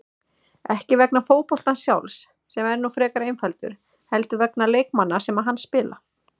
Ekki vegna fótboltans sjálfs, sem er nú frekar einfaldur, heldur vegna leikmanna sem hann spila.